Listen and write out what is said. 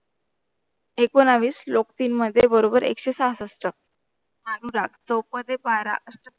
एकूणवीस श्लोक तीन मध्ये बरोबर एकशे सहासष्ट अनुराग चौपदी बारा अष्टपदे